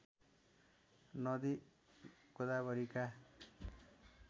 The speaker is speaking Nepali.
नदी गोदावरीका